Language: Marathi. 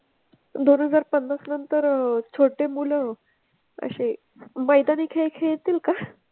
दोन हजार पन्नास पर्यंत छोटे मुलं असे मैदानी खेळ खेळतील का?